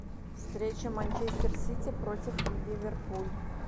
встреча манчестер сити против ливерпуль